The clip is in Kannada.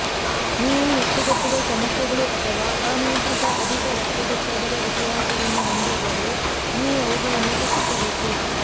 ನೀವು ಹೆಪ್ಪುಗಟ್ಟುವ ಸಮಸ್ಯೆಗಳು ಅಥವಾ ಅನಿಯಂತ್ರಿತ ಅಧಿಕ ರಕ್ತದೊತ್ತಡದ ಇತಿಹಾಸವನ್ನು ಹೊಂದಿದ್ದರೆ ನೀವು ಅವುಗಳನ್ನು ತಪ್ಪಿಸಬೇಕು